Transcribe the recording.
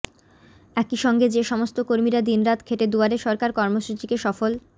একইসঙ্গে যে সমস্ত কর্মীরা দিনরাত খেটে দুয়ারে সরকার কর্মসূচিকে সফল